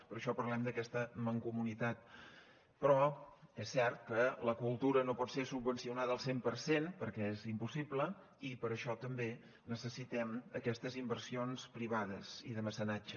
per això parlem d’aquesta mancomunitat però és cert que la cultura no pot ser subvencionada al cent per cent perquè és impossible i per això també necessitem aquestes inversions privades i de mecenatge